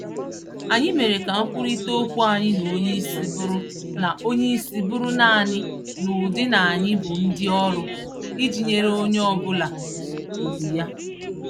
Anyị mèrè ka nkwurịta ókwú anyị na onyeisi bụrụ na onyeisi bụrụ nanị n'ụdị n'anyị bụ ndị ọrụ, iji nyèrè onye obula ùgwù ya.